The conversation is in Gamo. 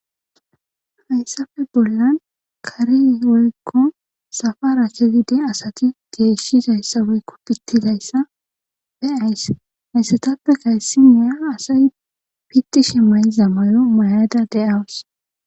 Hayssafe bollan kari woykko safara kezide asati geeshshidayssa woykko pittidayssa be ays haaysetappe kayssiniya asay pitti shemmay zamayo mayada de'awu.